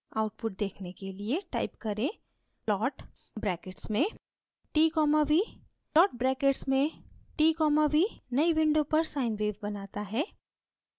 output देखने के लिए type करें: plot brackets में t v plot brackets में t v नई विंडो पर sine wave बनाता है